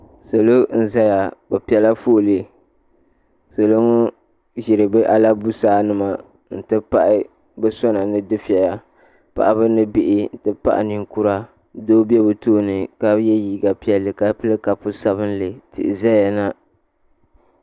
Salo n zaya bi pɛ la foolee salo ŋɔ ziri bi alabusaa nima n ti pahi bi sona ni dufɛya paɣaba ni bihi ti tabili ninkura doo bɛ bi tooni ka yiɛ liiga piɛlli ka pili kapu sabinli tihi zaya na.